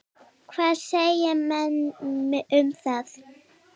Hvað segja menn um það?